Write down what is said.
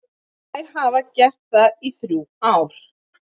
Þær hafa gert það í þrjú ár.